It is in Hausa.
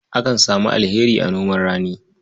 Akan samu alheri a noman rani.